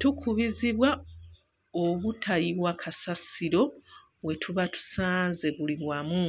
Tukubizibwa obutayiwa kasasiro we tuba tusanze buli wamu.